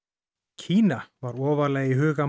Kína var ofarlega í huga